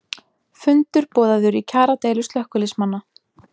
Fundur boðaður í kjaradeilu slökkviliðsmanna